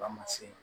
Ba ma se